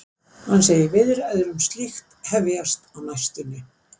Hann segir viðræður um slíkt hefjast á næstunni.